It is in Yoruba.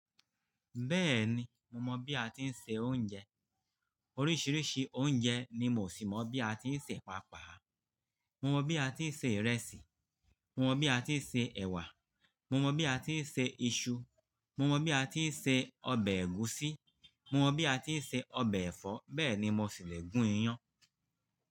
Bẹ́ẹ̀ni, mo mọ̀ bí a ti ń se oúnjẹ. Oríṣiríṣi oúnjẹ ni mo sì mọ̀ bí a ti ń sè pàápàá. Mo mọ̀ bí a ti ń se ìrẹsì, mo mọ̀ bí a ti ń se ẹ̀wà, mo mọ̀ bí a ti ń se iṣu, mo mọ̀ bí a ti ń se ọbẹ̀ ẹ̀gúsí, mo mọ̀ bí a ti ń se ọbẹ̀ ẹ̀fọ́, bẹ́ẹ̀ ni mo sì le gún iyán.